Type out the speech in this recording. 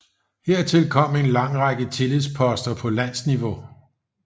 Hertil kom en lang række tillidsposter på landsniveau